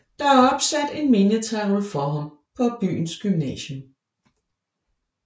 Der er opsat en mindetavle for ham på byens gymnasium